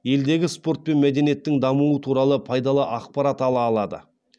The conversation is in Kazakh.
елдегі спорт пен мәдениеттің дамуы туралы пайдалы ақпарат ала алады